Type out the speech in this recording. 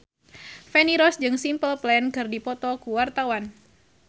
Feni Rose jeung Simple Plan keur dipoto ku wartawan